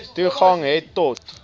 toegang het tot